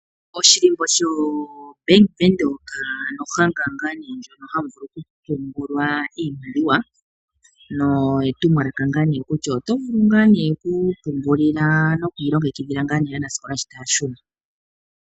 Oshilimbo sho Bank widhoek ao ohanga ngaa nee ndjono mono hamu vulu oku pungulwa iimaliwa. Etumwalaka kutya otovulu oku ipungulila noku ilongekidhila aanasikola shi taya shuna .